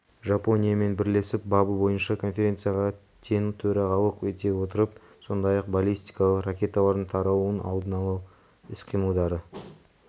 жапониямен бірлесіп бабы бойынша конференцияға тең төрағалық ете отырып сондай-ақ баллистикалық ракеталардың таралуының алдын алу іс-қимылдары